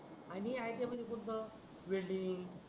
आणि iti म्हणजे कुठच वेल्डिंग